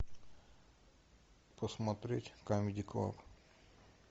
посмотреть камеди клаб